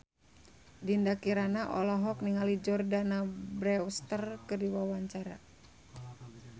Dinda Kirana olohok ningali Jordana Brewster keur diwawancara